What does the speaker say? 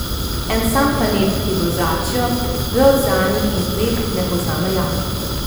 En sam planet, ki v ozračju, v oceanih in tleh ne pozna meja.